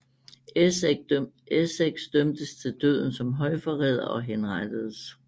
Essex dømtes til døden som højforræder og henrettedes